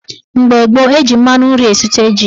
Mgbe gboo, eji mmanụ nri esute ji.